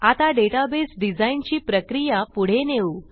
आता database design ची प्रक्रिया पुढे नेऊ